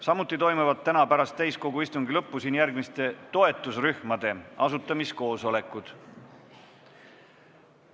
Samuti toimuvad täna pärast täiskogu istungi lõppu siin järgmiste toetusrühmade asutamiskoosolekud.